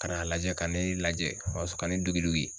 Ka n'a lajɛ ka ne lajɛ o y'a sɔrɔ ka ne dogi dogi